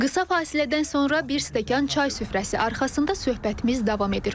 Qısa fasilədən sonra bir stəkan çay süfrəsi arxasında söhbətimiz davam edir.